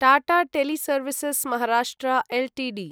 Tata teleservices Maharashtra Ltd